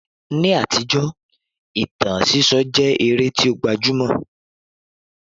Ni àtijọ́, ìtàn sísọ jẹ́ eré tí ó gbajúmọ̀